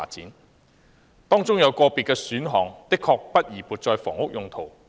原議案及修正案當中有個別建議選項確不宜撥作房屋用途。